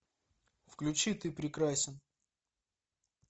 включи ты прекрасен